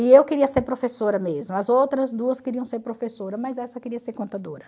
E eu queria ser professora mesmo, as outras duas queriam ser professora, mas essa queria ser contadora.